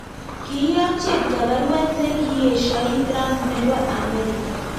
Kiiyok cheptoo baruet ne kieshoi trump nebo Amerika.